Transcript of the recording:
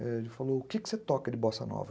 Ele falou, o quê que você toca de bossa nova?